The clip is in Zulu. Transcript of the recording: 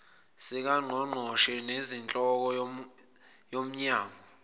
sikangqongqoshe nesenhloko yomnyango